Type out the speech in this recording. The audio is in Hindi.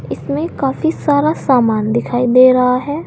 इसमें काफी सारा सामान दिखाई दे रहा है।